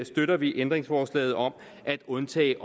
støtter vi ændringsforslaget om at undtage